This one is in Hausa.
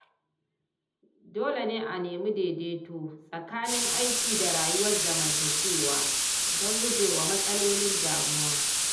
Dole ne a nemi daidaito tsakanin aiki da rayuwar zamantakewa, don gujewa matsalolin damuwa.